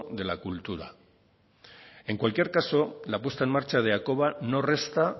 de la cultura en cualquier caso la puesta en marcha de hakoba no resta